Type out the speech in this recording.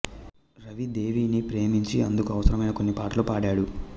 రవి దేవిని ప్రేమించి అందుకు అవసరమైన కొన్ని పాటలు పాడాడు